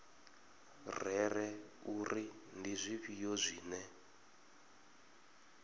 rere uri ndi zwifhio zwine